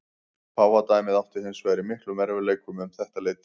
Páfadæmið átti hins vegar í miklum erfiðleikum um þetta leyti.